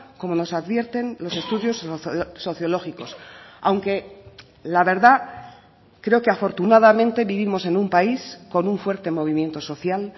como nos advierten los estudios sociológicos aunque la verdad creo que afortunadamente vivimos en un país con un fuerte movimiento social